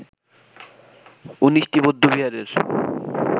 ১৯টি বৌদ্ধবিহারের